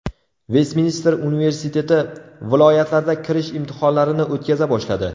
Vestminster universiteti viloyatlarda kirish imtihonlarini o‘tkaza boshladi.